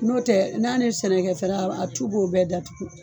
N'o tɛ n'a ni sɛnɛkɛ fɛn wɛrɛ a tu b'o bɛɛ datugu.